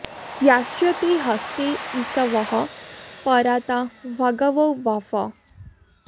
याश्च ते हस्ते इषवः परा ता भगवो वप